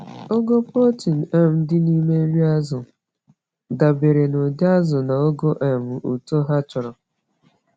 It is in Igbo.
Ogo protein um dị n’ime nri azụ dabere n’ụdị azụ na ogo um uto ha chọrọ.